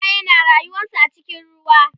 kifaye na rayuwansu a cikin ruwa